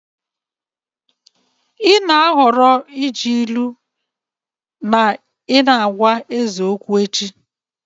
Ị na-ahọrọ iji ilu na ị na-agwa eze okwu echi.